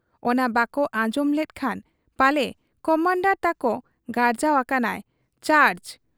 ᱚᱱᱟ ᱵᱟᱠᱚ ᱟᱸᱡᱚᱢ ᱞᱮᱫ ᱠᱷᱟᱱ ᱯᱟᱞᱮ ᱠᱚᱢᱟᱱᱰᱚᱨ ᱛᱟᱠᱚ ᱜᱟᱨᱡᱟᱣ ᱟᱠᱟᱱᱟᱭ 'ᱪᱟᱨᱡᱽ' ᱾